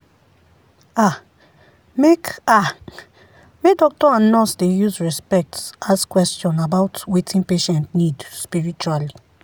ah make ah make doctor and nurse dey use respect ask question about wetin patient need spiritually.